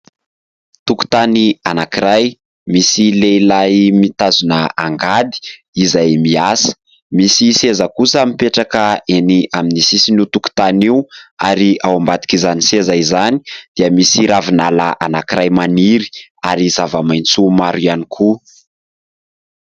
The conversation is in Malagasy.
Tokotany anankiray : misy lehilahy mitazona angady izay miasa, misy seza kosa mipetraka eny amin'ny sisin'io tokotany io, ary ao ambadik'izany seza izany dia misy ravinala anankiray maniry, ary zava-maitso maro ihany koa.